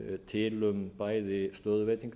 til um bæði stöðuveitingar